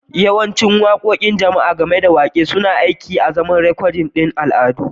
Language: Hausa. Yawancin waƙoƙin jama'a, gami da waƙe, suna aiki azaman rikodin al'adu